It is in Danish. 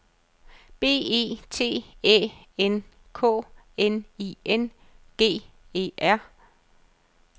B E T Æ N K N I N G E R